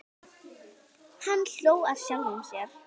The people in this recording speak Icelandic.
Hann hló að sjálfum sér.